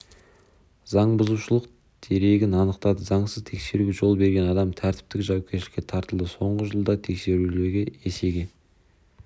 заңбұзушылық дерегін анықтады заңсыз тексеруге жол берген адам тәртіптік жауапкершілікке тартылды соңғы жылда тексерулер есеге